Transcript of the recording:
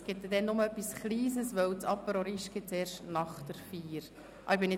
Es gibt nur etwas Kleines, weil der «Apéro riche» erst nach der Feier serviert wird.